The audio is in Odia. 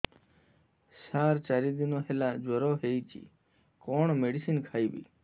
ସାର ଚାରି ଦିନ ହେଲା ଜ୍ଵର ହେଇଚି କଣ ମେଡିସିନ ଖାଇବି